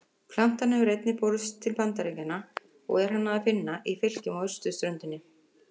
Plantan hefur einnig borist til Bandaríkjanna og er hana að finna í fylkjum á austurströndinni.